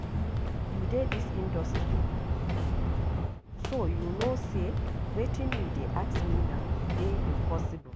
You dey dis industry, so you no say wetin you dey ask me now dey impossible